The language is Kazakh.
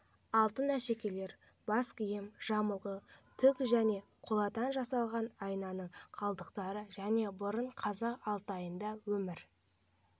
алтын әшекейлер бас киім жамылғы түк және қоладан жасалған айнаның қалдықтары жыл бұрын қазақ алтайында өмір